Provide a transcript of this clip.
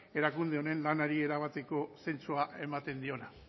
erakunde honen lanari erabateko zentzua ematen diona